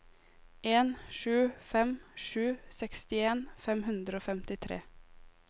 en sju fem sju sekstien fem hundre og femtitre